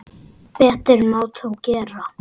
Betur má þó gera.